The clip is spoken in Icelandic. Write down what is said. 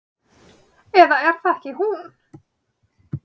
Eða er það ekki hún?